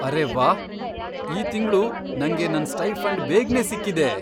ಅರೇ ವಾಹ್! ಈ ತಿಂಗ್ಳು ನಂಗೆ ನನ್ ಸ್ಟೈಫಂಡ್ ಬೇಗ್ನೇ ಸಿಕ್ಕಿದೆ!